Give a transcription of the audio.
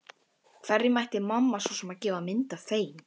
Hverjum ætti mamma svo sem að gefa mynd af þeim?